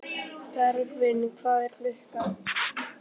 Bergvin, hvað er klukkan?